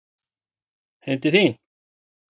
Heim til þín?